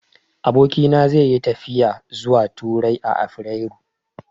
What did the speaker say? Abokina zai yi tafiya zuwa Turai a afirairu.